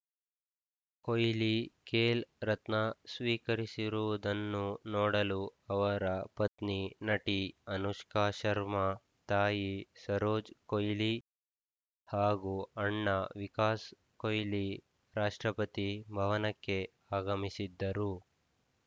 ಕೊಯ್ಲಿ ಖೇಲ್‌ ರತ್ನ ಸ್ವಿಕರಿಸುವುದನ್ನು ನೋಡಲು ಅವರ ಪತ್ನಿ ನಟಿ ಅನುಷ್ಕಾ ಶರ್ಮಾ ತಾಯಿ ಸರೋಜ್‌ ಕೊಯ್ಲಿ ಹಾಗೂ ಅಣ್ಣ ವಿಕಾಸ್‌ ಕೊಯ್ಲಿರಾಷ್ಟ್ರಪತಿ ಭವನಕ್ಕೆ ಆಗಮಿಸಿದ್ದರು